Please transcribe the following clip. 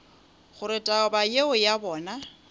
gore taba yeo ya bona